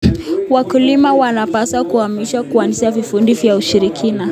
Wakulima wanapaswa kuhamasishwa kuanzisha vikundi vya ushirika.